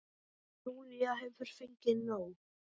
En Júlía hefur fengið nóg.